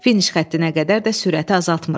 Finiş xəttinə qədər də sürəti azaltmırıq.